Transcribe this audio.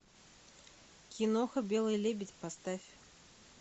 киноха белый лебедь поставь